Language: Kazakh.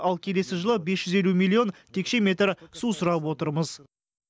ал келесі жылы бес жүз елу миллион текше метр су сұрап отырмыз